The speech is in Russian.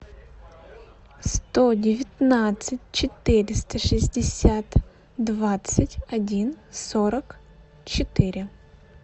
сто девятнадцать четыреста шестьдесят двадцать один сорок четыре